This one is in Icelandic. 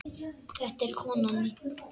Þetta er konan mín.